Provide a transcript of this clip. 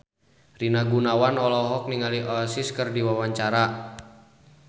Rina Gunawan olohok ningali Oasis keur diwawancara